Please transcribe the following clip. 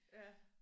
Ja